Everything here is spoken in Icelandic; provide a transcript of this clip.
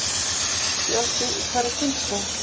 Fjöldi í hverri kynslóð.